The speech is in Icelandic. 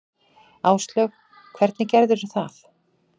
Áslaug: Hvernig gerðirðu það?